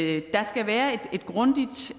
ikke der skal være et grundigt